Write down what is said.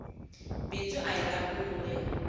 bindzu ahi ra unwe